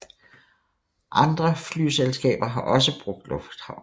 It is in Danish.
Andre flyselskab har også brugt lufthavnen